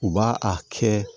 U b'a a kɛ